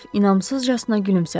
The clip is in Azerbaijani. Qraf inamsızcasına gülümsədi.